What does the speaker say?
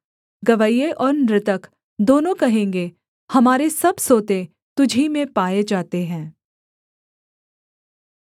गवैये और नृतक दोनों कहेंगे हमारे सब सोते तुझी में पाए जाते हैं